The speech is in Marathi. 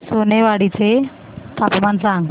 सोनेवाडी चे तापमान सांग